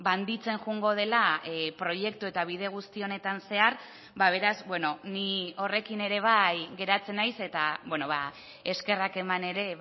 handitzen joango dela proiektu eta bide guzti honetan zehar beraz bueno ni horrekin ere bai geratzen naiz eta eskerrak eman ere